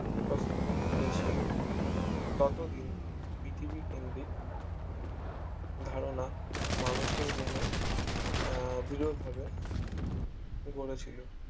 উপস্থাপনা করেছেন ততদিন পৃথিবী কেন্দ্রিক ধারণা মানুষের মনে আহ বিরল ভাবে গড়েছিল